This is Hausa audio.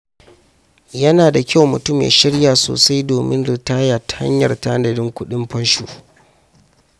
Yana da kyau mutum ya shirya sosai domin ritaya ta hanyar tanadin kuɗin fansho.